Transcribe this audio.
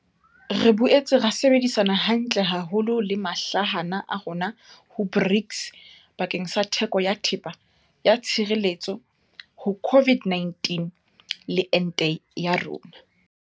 Re boetse ra sebedisana hantle haholo le mahlahana a rona ho BRICS bakeng sa theko ya thepa ya tshireletso ho COVID-19 le ente ya yona.